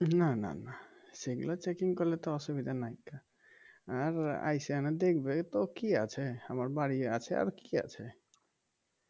না না না সেগুলা checking করলে অসুবিধার কিছু নাই গা আর আইসা দেখবে তো কি আছে আমার বাড়ি আছে আর কি আছে